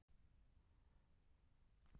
Bestu skytturnar fengu sérstaka viðurkenningu.